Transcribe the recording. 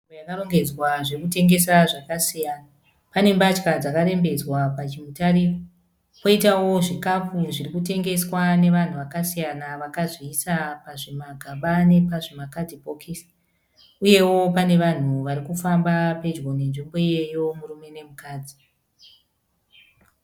Nzvimbo yakarongedzwa zvokutengesa zvakasiyana. Pane mbatya dzakarembedzwa pachiutare, kwoitawo zvikapu zviri kutengeswa nevanhu vakasiyana vakazviisa pazvimagaba nepazvimakadhibhokisi uyewo pane vanhu vari kufamba pedyo nenzvimbo iyoyo murume nomukadzi.